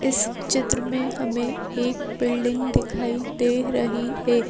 इस चित्र में हमें एक बिल्डिंग दिखाई दे रही है।